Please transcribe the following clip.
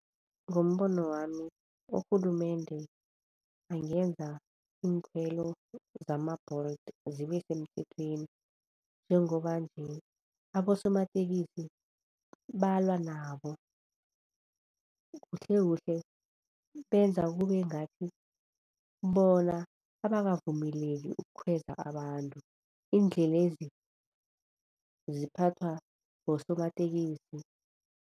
Ngombono wami urhulumende angenza iinkhwelo zama-Bolt zibe semthethweni njengoba nje abosomatekisi balwa nabo. Kuhlekuhle benza kube ngathi bona abakavumeleki ukukhweza abantu, iindlelezi ziphathwa bosomatekisi.